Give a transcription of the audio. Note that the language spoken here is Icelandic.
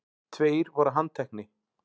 Tveir voru handtekni